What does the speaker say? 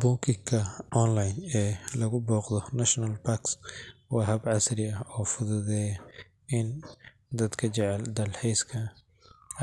Booking-ka online ee lagu booqdo national parks waa hab casri ah oo fududeeya in dadka jecel dalxiiska